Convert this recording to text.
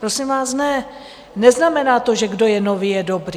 Prosím vás, ne, neznamená to, že kdo je nový, je dobrý.